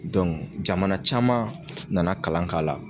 jamana caman nana kalan k'a la.